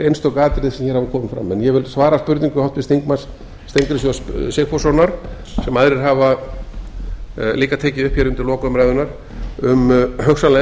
einstök atriði sem hafa hér komið fram en ég vil svara spurningu háttvirts þingmanns steingríms j sigfússonar sem aðrir hafa líka tekið upp hér undir lok umræðunnar um hugsanlega